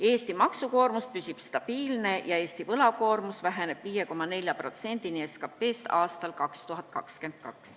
Eesti maksukoormus püsib stabiilne ja võlakoormus väheneb 2022. aastal 5,4%-ni SKT-st.